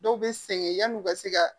Dɔw bɛ sɛgɛn yanni u ka se ka